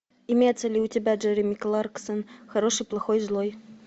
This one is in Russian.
имеется ли у тебя джереми кларксон хороший плохой злой